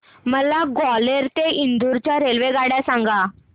मला ग्वाल्हेर ते इंदूर च्या रेल्वेगाड्या सांगा